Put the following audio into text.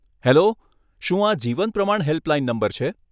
Hello, શું આ Jeevan Pramaan helpline number છે?